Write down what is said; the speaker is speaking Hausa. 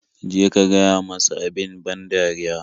Je ka gaya masa abin ban dariya.